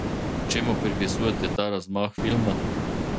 Čemu pripisujete ta razmah filma?